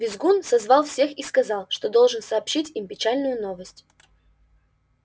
визгун созвал всех и сказал что должен сообщить им печальную новость